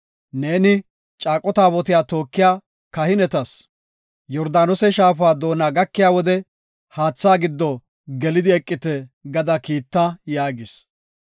Neeni, caaqo taabotiya tookiya kahinetas, ‘Yordaanose shaafa doona gakiya wode haatha gido gelidi eqite’ gada kiita” yaagis.